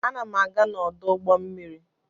Ana m aga n'ọdụ ụgbọ mmiri.